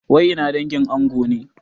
Wai ina dangin ango ne?